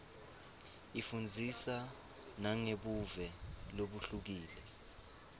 ifundzisa nangebuve lobuhlukile